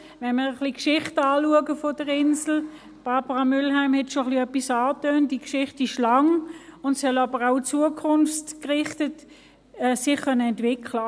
– Wenn man die Geschichte der Insel anschaut – Barbara Mühlheim tönte etwas an –, ist sie lang, und sie soll sich zukunftsgerichtet entwickeln können.